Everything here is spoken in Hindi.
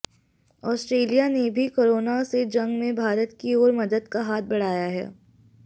ऑस्ट्रेलिया ने भी कोरोना से जंग में भारत की ओर मदद का हाथ बढ़ाया है